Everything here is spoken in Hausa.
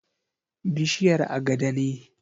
Bishiyar agada ne.